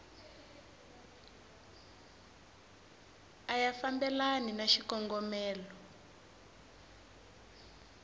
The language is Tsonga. a ya fambelani na xikongomelo